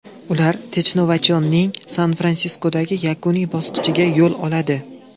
Ular Technovation’ning San-Fransiskodagi yakuniy bosqichiga yo‘l oladi.